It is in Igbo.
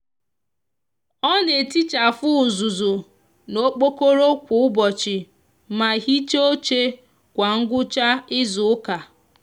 o n'etichafu uzuzu n'okpokoro kwa ubochi ma hicha oche kwa ngwcha izuuka